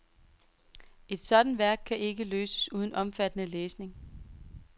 Et sådan værk kan ikke løses uden omfattende læsning.